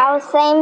Á þeim